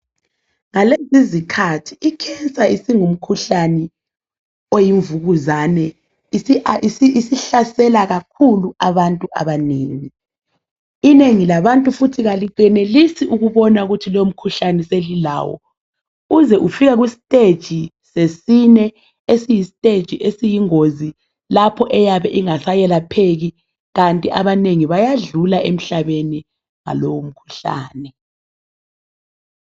Ngalezi izikhathi icancer singumkhuhlane oyimvukuzane isihlasela kakhulu abantu abanengi. Inengi labantu futhi alenelisi ukubona lowo mkhuhlane sengilawo kuze kufike istage sesine esiyistage esiyingozi lapho eyabe ingaseyelapheki kanti abanengi bayadlula emhlabeni ngalowo mkhuhlane.